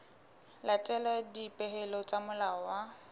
latela dipehelo tsa molao wa